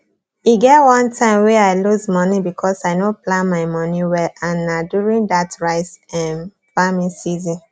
e get one time wey i lose money because i no plan my money well n na during dat rice um farming season